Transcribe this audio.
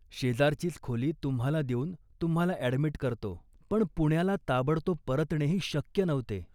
शेजारचीच खोली तुम्हाला देऊन तूम्हाला ॲडमिट करतो ." पण पुण्याला ताबडतोब परतणेही शक्य नव्हते